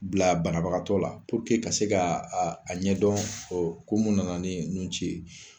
Bila banabagatɔ la ka se ka a ɲɛ dɔn kun mun nana ni nun ci ye.